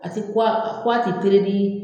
A ti ko a ti